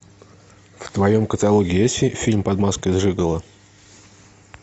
в твоем каталоге есть фильм под маской жиголо